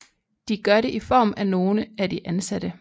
De gør det i form af nogle af de ansatte